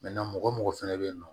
mɔgɔ o mɔgɔ fɛnɛ bɛ yen nɔ